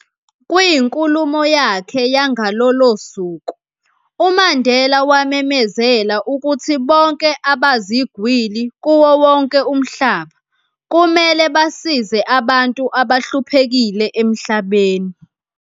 Kwinkulumo yakhe yangalolo suku, uMandela wamemezela ukuthi bonke abazigwili kuwo wonke umhlaba, kumele basize abantu abahluphekile emhlabeni.